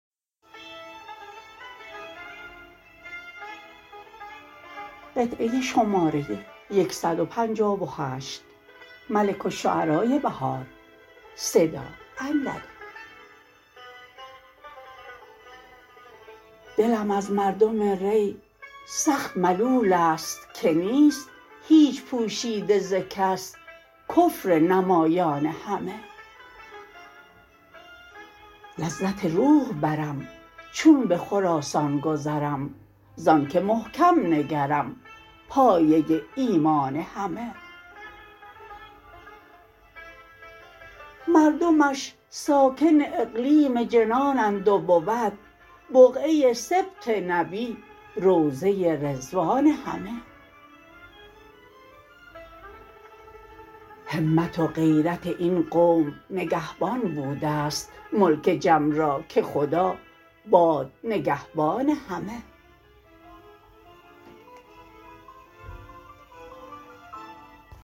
دلم از مردم ری سخت ملول است که نیست هیچ پوشیده زکس کفرنمایان همه لذت روح برم چون به خراسان گذرم ز آن که محکم نگرم پایه ایمان همه مردمش ساکن اقلیم جنانند و بود بقعه سبط نبی روضه رضوان همه همت و غیرت این قوم نگهبان بودست ملک جم را که خدا باد نگهبان همه